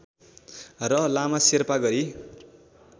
र लामा शेर्पा गरी